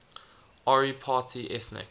ori party ethnic